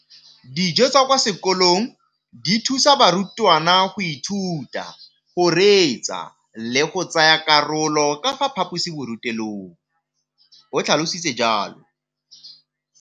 Dijo tsa kwa sekolong dithusa barutwana go ithuta, go reetsa le go tsaya karolo ka fa phaposiborutelong, o tlhalositse jalo.